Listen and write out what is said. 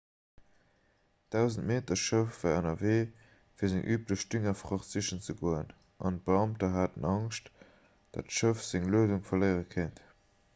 d'100-meter-schëff war ënnerwee fir seng üblech düngerfracht sichen ze goen an d'beamter haten angscht datt d'schëff seng luedung verléiere kéint